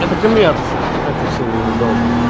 это коммерция это всё ненадолго